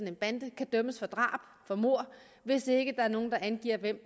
en bande kan dømmes for drab for mord hvis der ikke er nogen der angiver hvem